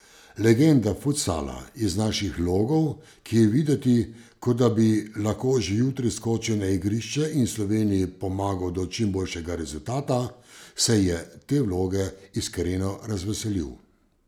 Legenda futsala iz naših logov, ki je videti, kot da bi lahko že jutri skočil na igrišče in Sloveniji pomagal do čim boljšega rezultata, se je te vloge iskreno razveselil.